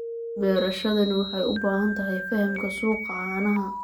Beerashadani waxay u baahan tahay fahamka suuqa caanaha.